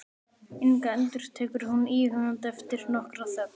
Inga, endurtekur hún íhugandi eftir nokkra þögn.